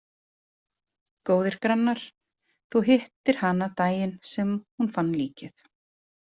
Góðir grannar Þú hittir hana daginn sem hún fann líkið?